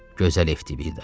Gözəl Eftivida.